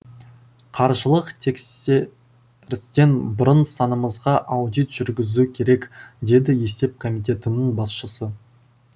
қаржылық тексерістен бұрын санамызға аудит жүргізу керек деді есеп комитетінің басшысы